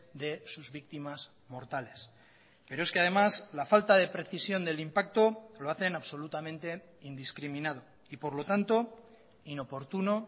de sus víctimas mortales pero es que además la falta de precisión del impacto lo hacen absolutamente indiscriminado y por lo tanto inoportuno